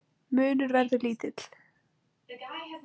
Munur verður lítill.